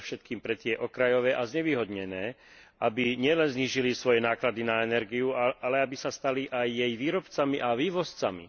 Predovšetkým pre tie okrajové a znevýhodnené, aby nielen znížili svoje náklady na energiu, ale aby sa stali aj jej výrobcami a vývozcami.